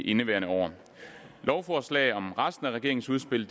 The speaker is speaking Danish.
indeværende år lovforslag om resten af regeringens udspil